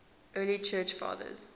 early church fathers